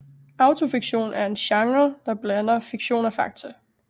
Autofiktion er en genre der blander fiktion og fakta